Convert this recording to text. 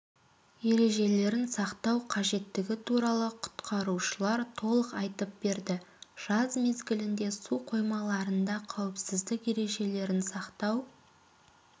ережелерін сақтау қажеттігі туралы құтқарушылар толық айтып берді жаз мезгілінде су қоймаларында қауіпсіздік ережелерін сақтау